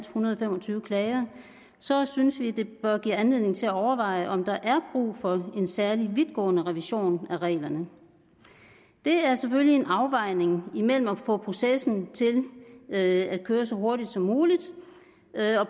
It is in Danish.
hundrede og fem og tyve klager så synes vi det bør give anledning til at overveje om der er brug for en særlig vidtgående revision af reglerne det er selvfølgelig en afvejning imellem det at få processen til at køre så hurtigt som muligt